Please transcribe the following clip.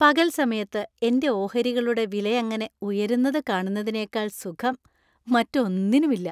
പകൽ സമയത്ത് എന്‍റെ ഓഹരികളുടെ വിലയങ്ങനെ ഉയരുന്നതു കാണുന്നതിനേക്കാൾ സുഖം, മറ്റൊന്നിനുമില്ല.